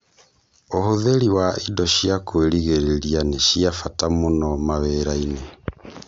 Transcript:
ũhũthĩri wa indo cia kũirigĩrĩria ni cia mbata mũno mawĩrainĩ